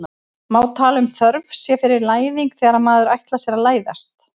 má tala um þörf sé fyrir læðing þegar maður ætlar sér að læðast